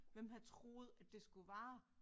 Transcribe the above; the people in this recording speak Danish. Hvem havde troet at det skulle vare